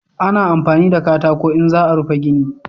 Ana amfani da katako in za a rufe gini